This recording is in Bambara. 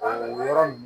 O yɔrɔ nin